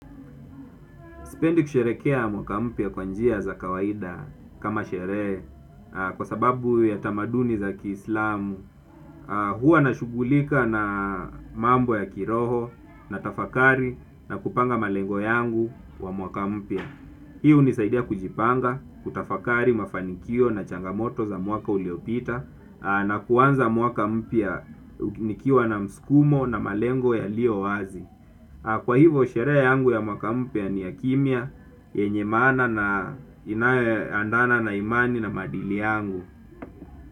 Sipendi kusherekea mwaka mpya kwanjia za kawaida kama sherehe kwa sababu ya tamaduni za kiislamu. Huwa na shughulika na mambo ya kiroho na tafakari na kupanga malengo yangu wa mwaka mpya. Hii hunisaidia kujipanga, kutafakari, mafanikio na changamoto za mwaka uliopita na kuanza mwaka mpya nikiwa na msukumo na malengo ya lio wazi. Kwa hivo sherehe yangu ya mwakampya ni ya kimya, yenye maana na inayoendana na imani na maadili yangu.